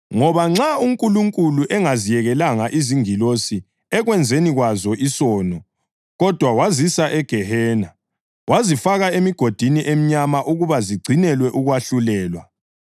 Ngoba nxa uNkulunkulu engaziyekelanga izingilosi ekwenzeni kwazo isono, kodwa wazisa egehena, wazifaka emigodini emnyama ukuba zigcinelwe ukwahlulelwa.